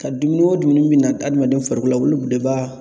Ka dumuni o dumuni min na adamaden farikolo k'olu de ba